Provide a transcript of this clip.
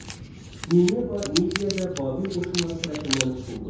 Nineva Midiya və Babil qoşunları tərəfindən tutuldu.